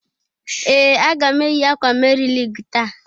Ee! Aga m eyi akwa Meri Lig taa.